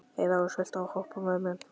Heiðrós, viltu hoppa með mér?